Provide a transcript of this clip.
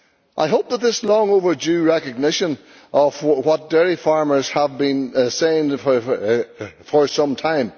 I hope that this is a long overdue recognition of what dairy farmers have been saying for some time.